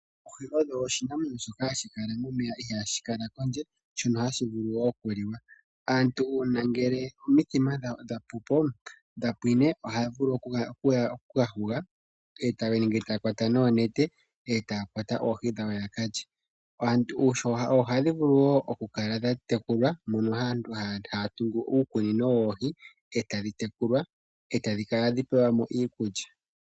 Oohi odho oshinamwenyo shoka hashi kala momeya ihaashi kala kondje, shono hashi vulu wo okuliwa. Aantu uuna omithima dhawo dha pwine ohaya vulu oku ka huga ketale nenge taya kwata noonete, e taya kwata oohi dhawo ya ka lye. Oohi ohadhi vulu wo okukala dha tekulwa, moka aantu haya tungu uukunino wawo woohi e tadhi tekulwa, e tadhi kala hadhi pelwa mo iikulya.